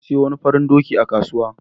Na sayo wani farin doki a kasuwa.